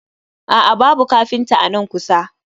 A'a, babu kafinta a nan kusa